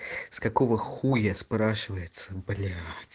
с какого хуя спрашивается блять